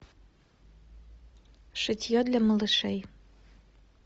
шитье для малышей